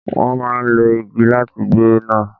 Wọ́n a má lo igi láti gbé nà.